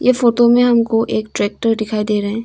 इस फोटो में हमको एक ट्रेक्टर दिखाई दे रहे हैं।